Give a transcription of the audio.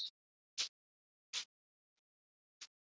En hve mikið hærra?